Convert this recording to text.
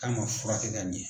K'an ka furakɛ ka ɲɛ.